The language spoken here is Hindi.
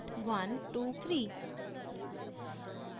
statement 123